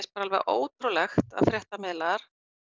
alveg ótrúlegt að fréttamiðlar